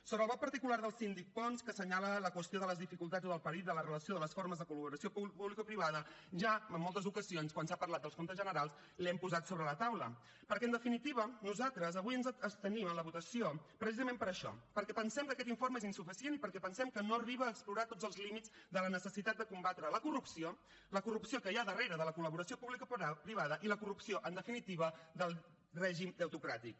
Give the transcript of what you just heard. sobre el vot particular del síndic pons que senyala la qüestió de les dificultats o del perill de la relació de les formes de col·laboració publicoprivada ja en moltes ocasions quan s’ha parlat del compte general l’hem posat sobre la taula perquè en definitiva nosaltres avui ens abstenim en la votació precisament per això perquè pensem que aquest informe és insuficient i perquè pensem que no arriba a explorar tots els límits de la necessitat de combatre la corrupció la corrupció que hi ha darrere de la col·laboració publicoprivada i la corrupció en definitiva del règim deutocràtic